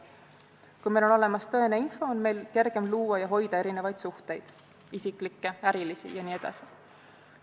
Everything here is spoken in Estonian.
Kui meil on olemas tõene info, on meil kergem luua ja hoida erinevaid suhteid – isiklikke, ärilisi jne.